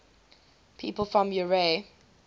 people from eure